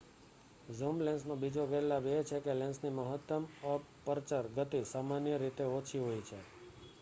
zoom લેન્સનો બીજો ગેરલાભ એ છે કે લેન્સની મહત્તમ અપર્ચર ગતિ સામાન્ય રીતે ઓછી હોય છે